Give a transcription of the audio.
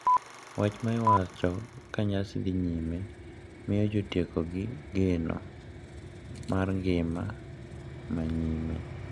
Wach ma iwacho ka nyasi dhi nyime miyo jotiekogi geno mar ngima ma nyime.